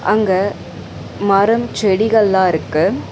அங்க மரம் செடிகள் லாம் இருக்கு.